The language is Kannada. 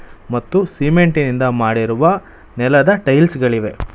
ಮತ್ತು ಸಿಮೆಂಟಿನಿಂದ ಮಾಡಿರುವ ನೆಲದ ಟೈಲ್ಸ್ ಗಳಿವೆ.